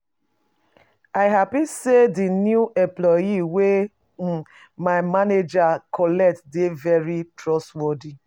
I happy say the new employee wey my manager collect dey very trustworthy